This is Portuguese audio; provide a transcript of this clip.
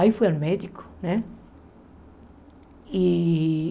Aí fui ao médico, né? E